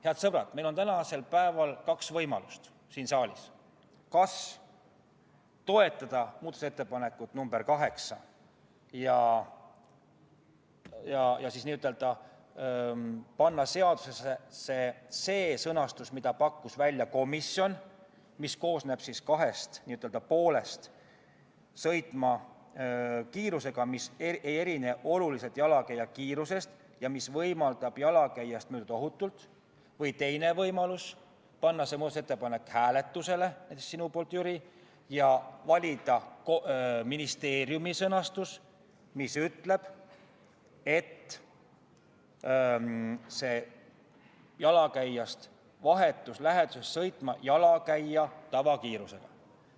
Head sõbrad, meil on tänasel päeval siin saalis kaks võimalust: kas toetada muudatusettepanekut nr 8 ja panna seadusesse see sõnastus, mille pakkus välja komisjon ja mis koosneb kahest n-ö poolest – "sõitma kiirusega, mis ei erine oluliselt abivahendit mittekasutava jalakäija kiirusest ja mis võimaldab temast ohutult mööduda" –, või, teine võimalus, panna see muudatusettepanek hääletusele, näiteks sinu poolt, Jüri, ja valida ministeeriumi sõnastus, mis ütleb, et jalakäija vahetus läheduses peab sõitma jalakäija tavakiirusega.